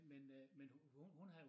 Men øh men hun hun havde